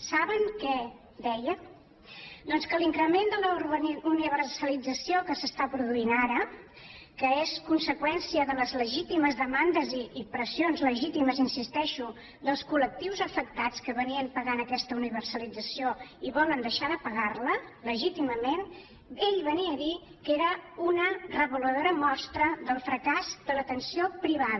saben què deia doncs que l’increment de la universalització que s’està produint ara que és conseqüència de les legítimes demandes i pressions legítimes hi insisteixo dels col·lectius afectats que pagaven aquesta universalització i volen deixar de pagar la legítimament ell venia a dir que era una reveladora mostra del fracàs de l’atenció privada